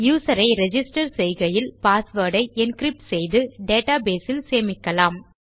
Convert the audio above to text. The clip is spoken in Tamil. யூசர் ஐ ரிஜிஸ்டர் செய்கையில் பாஸ்வேர்ட் ஐ என்கிரிப்ட் செய்து டேட்டா பேஸ் இல் சேமிக்கலாம்